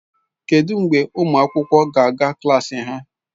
Kedụ mgbe ụmụ akwụkwọ ga-aga klas ha?